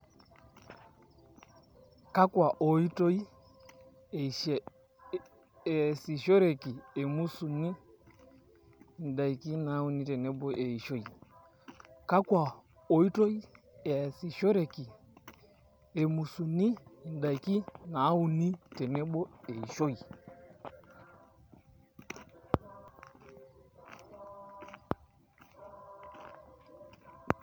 Kakwa oitoi easishoreki emusuni endaki nauni tenebo eishoi kakwa oitoi easishoreki emusuni endaki nauni tenebo eishoi.